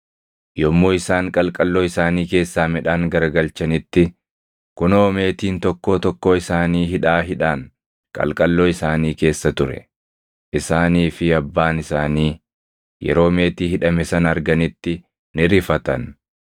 Yommuu isaan qalqalloo isaanii keessaa midhaan garagalchanitti, kunoo meetiin tokkoo tokkoo isaanii hidhaa hidhaan qalqalloo isaanii keessa ture. Isaanii fi abbaan isaanii yeroo meetii hidhame sana arganitti ni rifatan.